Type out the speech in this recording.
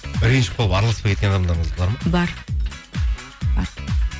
ренжіп қалып араласпай кеткен адамдарыңыз бар ма бар бар